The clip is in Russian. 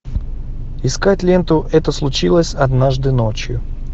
искать ленту это случилось однажды ночью